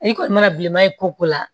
I kɔni mana bilenman ye ko la